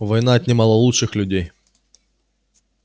война отнимала лучших людей